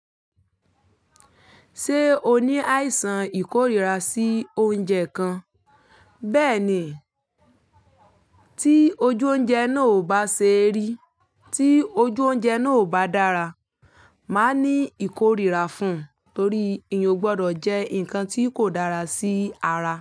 Ṣé o ní àìsàn ìkórìíra sí oúnjẹ kan? Bẹ́ẹ̀ ni, tí ojú oúnjẹ náà ò bá ṣe rí, tí ojú oúnjẹ náà ò bá dára, máa ní ìkórìíra fún, torí èèyàn o gbọdọ̀ jẹ́ nǹkan tí kò dára sí ara.